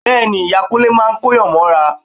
Bẹ́ẹ̀ ni, ìyá Kúnlé máa kóyàn mọ́ra